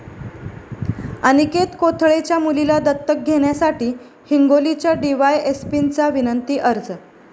अनिकेत कोथळेच्या मुलीला दत्तक घेण्यासाठी हिंगोलीच्या डीवायएसपींचा विनंती अर्ज